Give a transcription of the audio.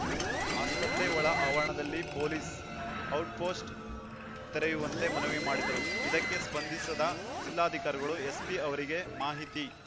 ಆಸ್ಪತ್ರೆ ಒಳ ಆವರಣದಲ್ಲಿ ಪೊಲೀಸ್‌ ಔಟ್‌ಪೋಸ್ಟ್‌ ತೆರೆಯುವಂತೆ ಮನವಿ ಮಾಡಿದರು ಇದಕ್ಕೆ ಸ್ಪಂದಿಸಿದ ಜಿಲ್ಲಾಧಿಕಾರಿಗಳು ಎಸ್ಪಿ ಅವರಿಗೆ ಮಾಹಿತಿ